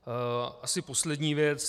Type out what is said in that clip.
Asi poslední věc.